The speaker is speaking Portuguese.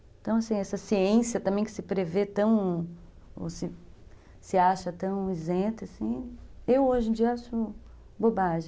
Então, assim, essa ciência também que se prevê tão, ou se acha tão isenta, assim, eu hoje em dia acho bobagem.